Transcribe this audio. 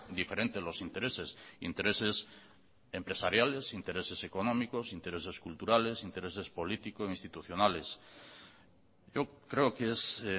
diferentes los intereses intereses empresariales intereses económicos intereses culturales intereses político institucionales yo creo que es